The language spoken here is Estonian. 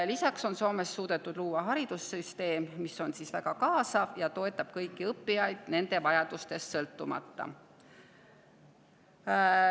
Lisaks on Soomes suudetud luua haridussüsteem, mis on väga kaasav ja toetab kõiki õppijaid nende vajadustest sõltumata.